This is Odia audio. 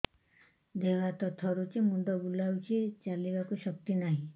ଦେହ ହାତ ଥରୁଛି ମୁଣ୍ଡ ବୁଲଉଛି ଚାଲିବାକୁ ଶକ୍ତି ନାହିଁ